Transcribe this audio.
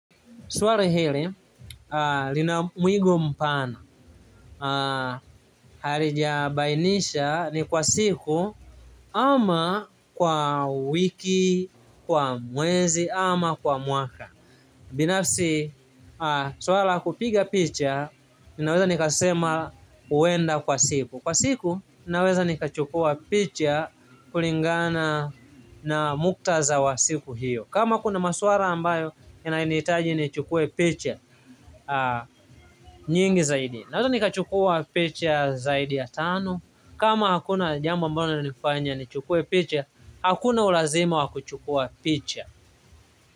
Swali hili, lina mwigo mpana, halijabainisha, ni kwa siku ama kwa wiki, kwa mwezi, ama kwa mwaka. Binafsi, swala la kupiga picha, ninaweza nikasema, huenda kwa siku. Kwa siku, ninaweza nikachukua picha kulingana na muktaza wa siku hiyo. Kama kuna masuala ambayo inanihitaji nichukue picha nyingi zaidi. Naweza nikachukua picha zaidi ya tano. Kama hakuna jambo ambalo linanifanya nichukue picha, hakuna ulazima wa kuchukua picha.